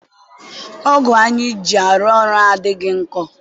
ọgụ anyị ji arụ ọrụ adịghị nkọ.